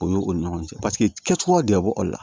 O y'o ni ɲɔgɔn cɛ paseke kɛcogoya de bɛ bɔ o la